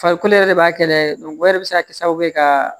Farikolo yɛrɛ de b'a kɛ o yɛrɛ bi se ka kɛ sababu ye ka